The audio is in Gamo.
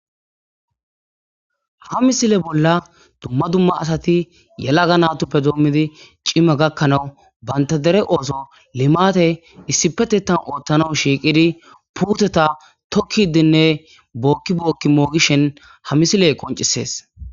ha misile bolla dumma dumma asati yelaga natuppe doommidi cima gakkanawu banta dere ooso limate issipetetan ooththana shiiqidi puuteta tokkidinne bookki bookki moogishen ha misiley qoncisees